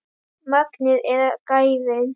Magnið eða gæðin?